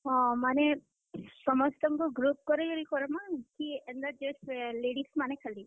ହଁ, ମାନେ ସମସ୍ତଙ୍କୁ group କରି କରମା କି, ଏନ୍ତା ladies ମାନେ ଖାଲି।